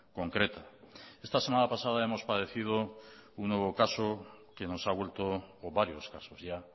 concreta esta semana pasada hemos padecido un nuevo caso que nos ha vuelto o varios casos ya